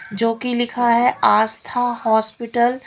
जो कि लिखा है आस्था हॉस्पिटल --